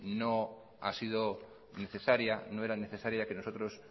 no ha sido necesaria no era necesaria que nosotros